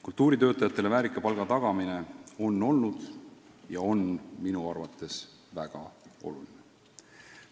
Kultuuritöötajatele väärika palga tagamine on minu arvates olnud ja on ka praegu väga oluline.